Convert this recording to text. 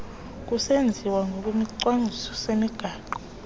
kusenziwa ngokwesicwangciso semigaqo